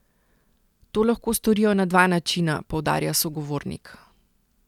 To lahko storijo na dva načina, poudarja sogovornik.